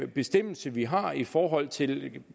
bestemmelse vi har i forhold til